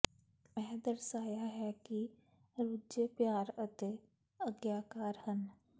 ਇਹ ਦਰਸਾਇਆ ਹੈ ਕਿ ਰੁਝੇ ਪਿਆਰ ਅਤੇ ਆਗਿਆਕਾਰ ਹਨ